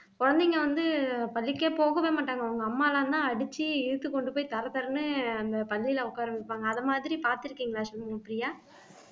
குழந்தைங்க வந்து பள்ளிக்கே போகவே மாட்டாங்க அவங்க அம்மா எல்லாம்தான் அடிச்சு இழுத்து கொண்டு போய் தர தரன்னு அந்த பள்ளியில உட்கார வைப்பாங்க அது மாதிரி பார்த்திருக்கீங்களா சண்முகப்பிரியா